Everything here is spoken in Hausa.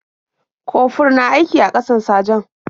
Kofur na aiki a ƙasan sajan.